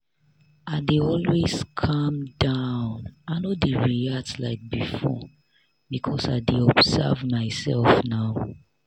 i dey always calm down i no dey react like before because i dey observe my self now.